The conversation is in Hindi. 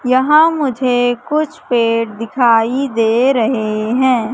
यहां मुझे कुछ पेड़ दिखाई दे रहे हैं।